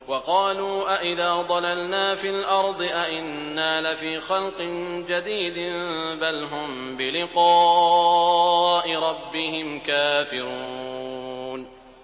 وَقَالُوا أَإِذَا ضَلَلْنَا فِي الْأَرْضِ أَإِنَّا لَفِي خَلْقٍ جَدِيدٍ ۚ بَلْ هُم بِلِقَاءِ رَبِّهِمْ كَافِرُونَ